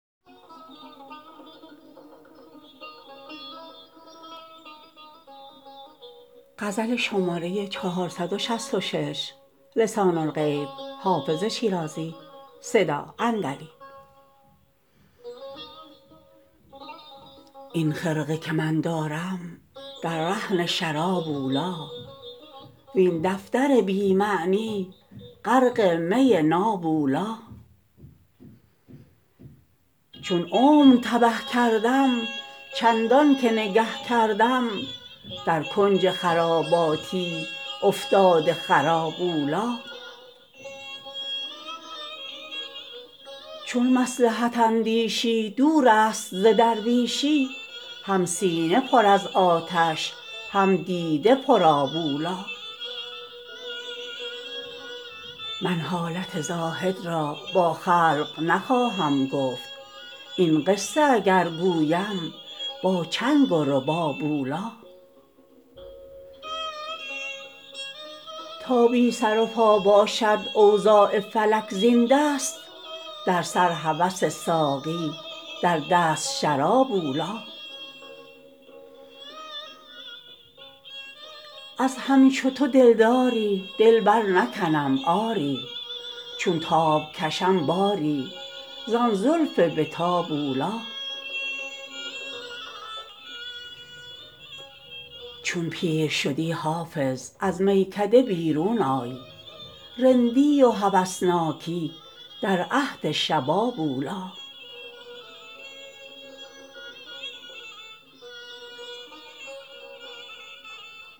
این خرقه که من دارم در رهن شراب اولی وین دفتر بی معنی غرق می ناب اولی چون عمر تبه کردم چندان که نگه کردم در کنج خراباتی افتاده خراب اولی چون مصلحت اندیشی دور است ز درویشی هم سینه پر از آتش هم دیده پرآب اولی من حالت زاهد را با خلق نخواهم گفت این قصه اگر گویم با چنگ و رباب اولی تا بی سر و پا باشد اوضاع فلک زین دست در سر هوس ساقی در دست شراب اولی از همچو تو دلداری دل برنکنم آری چون تاب کشم باری زان زلف به تاب اولی چون پیر شدی حافظ از میکده بیرون آی رندی و هوسناکی در عهد شباب اولی